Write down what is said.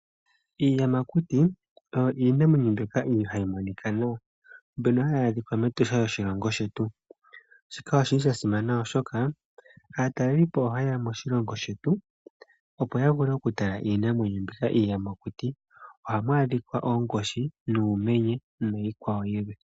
Iiyamakuti oyo iinamwenyo mbyoka ihayi monika nuupu, mbyono hayi adhika mEtosha lyoshilongo shetu. Shika oshili sha simana oshoka, aatalelipo oha ye ya moshilongo shetu, opo ya vule oku tala iinamwenyo mbika iiyamakuti. Ohamu adhika oonkoshi, nuumenye niikwawo yilwe.